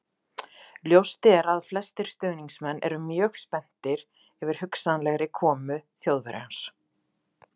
Ljóst er að flestir stuðningsmenn eru mjög spenntir yfir hugsanlegri komu Þjóðverjans.